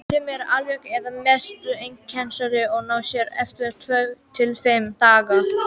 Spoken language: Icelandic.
Sumir eru alveg eða að mestu einkennalausir og ná sér eftir tvo til fimm daga.